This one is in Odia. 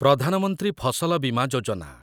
ପ୍ରଧାନ ମନ୍ତ୍ରୀ ଫସଲ ବିମା ଯୋଜନା